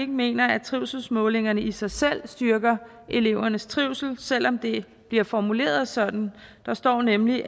mener at trivselsmålingerne i sig selv styrker elevernes trivsel selv om det bliver formuleret sådan der står nemlig